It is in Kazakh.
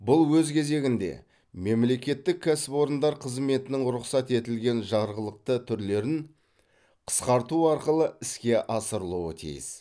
бұл өз кезегінде мемлекеттік кәсіпорындар қызметінің рұқсат етілген жарғылықты түрлерін қысқарту арқылы іске асырылуы тиіс